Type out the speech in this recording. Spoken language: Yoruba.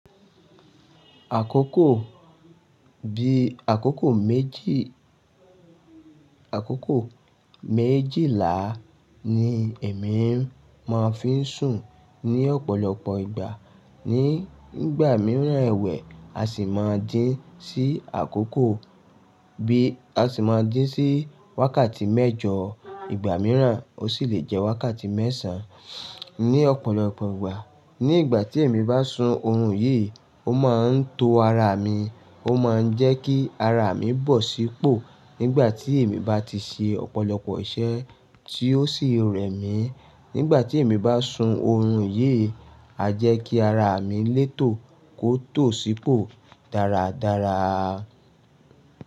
Àkókò bí àkókò méjì, àkókò méjìlá ni èmi máa ń fi sùn ní ọ̀pọ̀lọpọ̀ ìgbà. Ní ìgbà mìíràn ẹ̀wẹ̀, a sì máa ji sí àkókò bí a sì máa ji sí wákàtí mẹ́jọ. Ìgbà mìíràn ó sì lè jẹ́ wákàtí mẹ́sàn ní ọ̀pọ̀lọpọ̀ ìgbà. Ní ìgbà tí èmi bá sun oorun yìí, ó máa ń to ara mi, ó máa ń jẹ́ kí ara mi bọ̀ sí pò nígbà tí èmi bá ti ṣe ọ̀pọ̀lọpọ̀ iṣẹ́ tí ó sì rẹ̀ mí. Nígbà tí èmi bá sun oorun yìí, a jẹ́ kí ara mi létò kó tó sì pò dáradára.